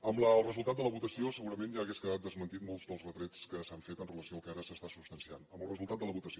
amb el resultat de la votació segurament ja haurien quedat desmentit molts dels retrets que s’han fet amb relació al que ara s’està substanciant amb el resultat de la votació